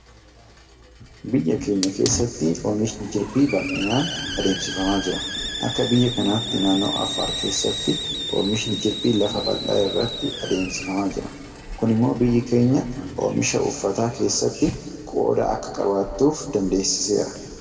Biyya keenya keessatti oomishni Jirbii bal'inaan adeemsifamaa jira. Akka biyya kanaatti naannoo Affaar keessatti Oomishni Jirbii lafa bal'aa irratti adeemsifamaa jira. Kun immoo biyyi keenya oomisha uffataa keessatti qooda akka qabaattuuf dandeessiseera.